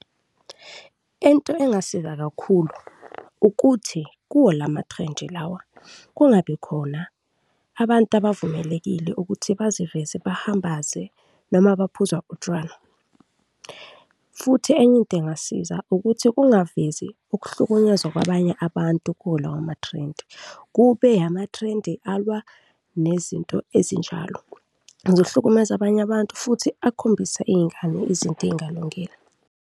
Into engasiza kakhulu ukuthi kuwo lamathrendi lawa kungabi khona abantu abavumelekile ukuthi baziveze bahambaze noma baphuza utshwala. Futhi enye into engasiza ukuthi kungavezi ukuhlukunyezwa kwabanye abantu kuwo lawo mathrendi, kube amathrendi alwa nezinto ezinjalo, ngizohlukumeza abanye abantu futhi akhombisa iy'ngane izinto ezingalungile.